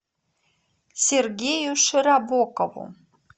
сергею широбокову